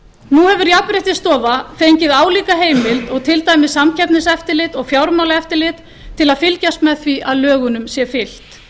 hefur jafnréttisstofa fengið álíka heimild og til dæmis samkeppniseftirlit og fjármálaeftirlit til að fylgjast með því að lögunum sé fylgt